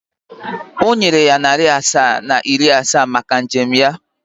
Ọ nyere ya narị asaa na iri asaa maka njem ya.